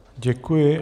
Děkuji.